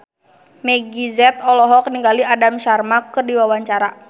Meggie Z olohok ningali Aham Sharma keur diwawancara